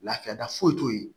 Lafiya da foyi t'o ye